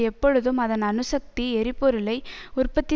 எப்பொழுதும் அதன் அணுசக்தி எரிபொருளை உற்பத்தி